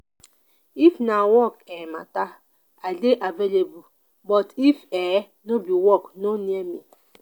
if na work um mata i dey available but if um no be work no near me.